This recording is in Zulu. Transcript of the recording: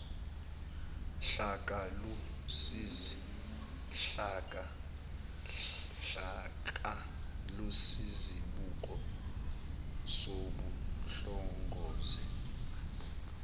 hlaka luyisibuko sokuhlongozwe